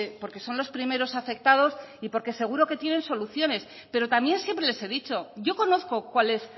porque son los primeros afectados y porque seguro que tienen soluciones pero también siempre les he dicho yo conozco cual es